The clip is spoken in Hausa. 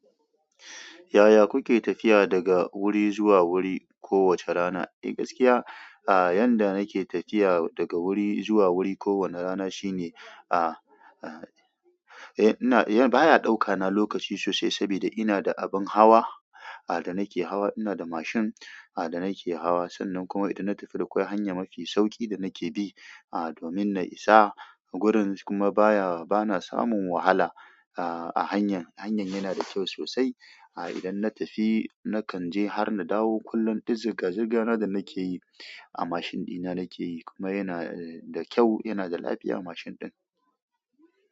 Yaya kuke tafiya daga wuri zuwa wuri kowace rana? Eh gaskiya a yanda nake tafiya daga wuri zuwa wuri ko wani rana shine a a eh baya ɗauka na lokaci sosai inada abin hawa da nike hawa, ina da mashin, a da nake hawa. Sannan kuma idan na tafi akwai hanya mafi sauƙi da nake bi, a domin na isa a gurin kuma baya, bana samun wahala, a, a hanyar. Hanyan yana da kyau sosai, a idan na tafi nakan je har na dawo, kullum du zirga-zirga na da nake yi, a mashin ɗina nake yi kuma yana da kyau, yana da lafiya mashin ɗin.